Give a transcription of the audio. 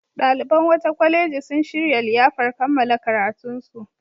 Ɗaliban wata kwaleji sun shirya liyafar kammala karatunsu.